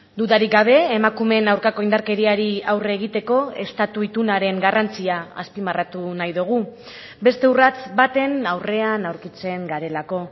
dudarik gabe emakumeen aurkako indarkeriari aurre egiteko estatu itunaren garrantzia azpimarratu nahi dugu beste urrats baten aurrean aurkitzen garelako